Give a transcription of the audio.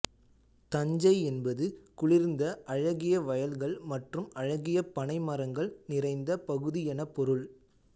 தஞ்சை என்பது குளிர்ந்த அழகிய வயல்கள் மற்றும் அழகிய பனை மரங்கள் நிறைந்த பகுதி என பொருள்